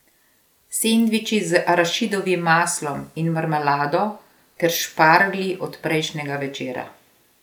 Sendviči z arašidovim maslom in marmelado ter šparglji od prejšnjega večera.